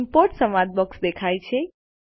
import સંવાદ box દેખાય છે